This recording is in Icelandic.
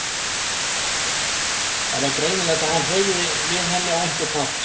Það var greinilegt að hann hreyfði við henni á einhvern hátt.